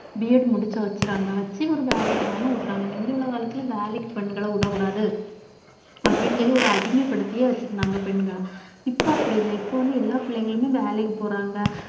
BEd முடிச்சு வைச்சிறாங்க வச்சு ஒரு வேலைக்குன்னாலும் விடுறாங்க முந்தி உள்ள காலத்திலே வேலைக்கு பெண்கள விடக்கூடாது அப்படின்னு சொல்லி ஒரு அடிமைப்படுத்தியே வச்சிருந்தாங்க பெண்கள் இப்ப அப்படி இல்லை இப்ப வந்து எல்லா பிள்ளைங்களுமே வேலைக்கு போறாங்க